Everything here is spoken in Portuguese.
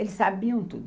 Eles sabiam tudo.